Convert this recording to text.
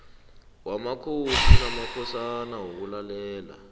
wamakhosi namakhosana wokulalela